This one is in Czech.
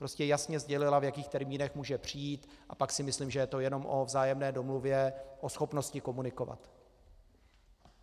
Prostě jasně sdělila, v jakých termínech může přijít, a pak si myslím, že je to jenom o vzájemné domluvě, o schopnosti komunikovat.